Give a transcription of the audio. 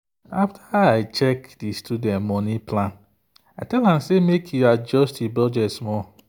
after i check the student money plan i tell am make e adjust e budget small.